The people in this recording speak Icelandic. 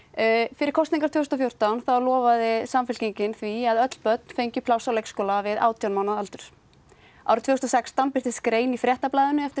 fyrir kosningar tvö þúsund og fjórtán lofaði Samfylkingin því að öll börn fengu pláss á leikskólum við átján mánaða aldur árið tvö þúsund og sextán birtist grein í Fréttablaðinu eftir